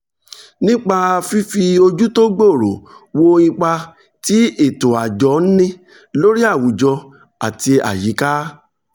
nípa fífi ojú tó gbòòrò wo ipa tí ètò àjọ ń ní lórí àwùjọ àti àyíká